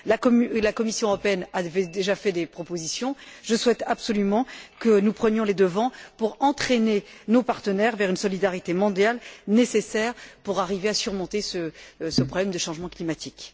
La Commission européenne avait déjà fait des propositions, je souhaite absolument que nous prenions les devants pour entraîner nos partenaires vers une solidarité mondiale nécessaire pour arriver à surmonter ce problème de changement climatique.